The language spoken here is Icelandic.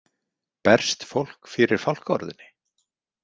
Berst fólk fyrir fálkaorðunni?